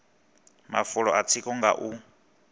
mafulo a tsiko nga u